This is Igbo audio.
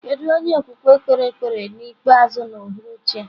Kedu onye okwukwe kpere ekpere ikpeazụ n'uhuruchi a?